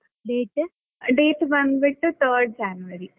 Date date ಬಂದ್ ಬಿಟ್ಟು third January.